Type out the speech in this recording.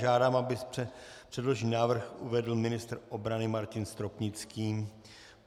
Žádám, aby předložený návrh uvedl ministr obrany Martin Stropnický.